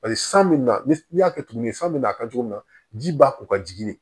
Paseke san bɛ na ni n y'a kɛ tuguni san bɛna a kɛ cogo min na ji ba ko ka jigin